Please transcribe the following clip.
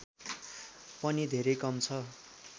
पनि धेरै कम छ